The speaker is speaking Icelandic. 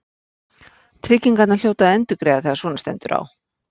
Tryggingarnar hljóta að endurgreiða þegar svona stendur á.